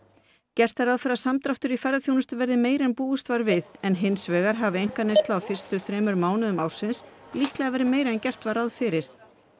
gert er ráð fyrir að samdráttur í ferðaþjónustu verði meiri en búist var við en hins vegar hafi einkaneysla á fyrstu þremur mánuðum ársins líklega verið meiri en gert var ráð fyrir